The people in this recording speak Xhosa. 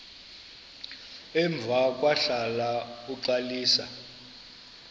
emva kwahlala uxalisa